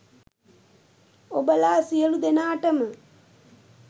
ඔබලා සියලු දේනාටම